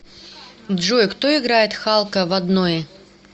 джой кто играет халка в однои